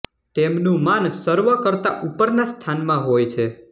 તેમનું માન સર્વ કરતા ઉપરના સ્થાનમાં હોય છે